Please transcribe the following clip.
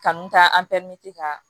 Kanu ka ka